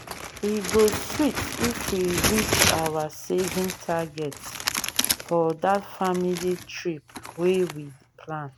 e go sweet if we reach our saving target for that family trip wey we plan.